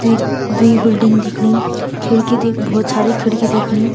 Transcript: द्वि-द्वि बिल्डिंग दिखणी खिड़की दी भोत सारी खिड़की दिखणी।